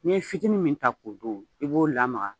N'i ye fitinin min ta k'o dun, i b'o lamaga